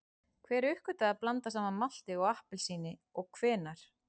Hver uppgötvaði að blanda saman malti og appelsíni og hvenær?